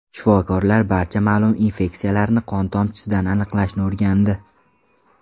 Shifokorlar barcha ma’lum infeksiyalarni qon tomchisidan aniqlashni o‘rgandi.